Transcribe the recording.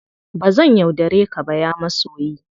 Ba zan yaudare ka ba, ya masoyi!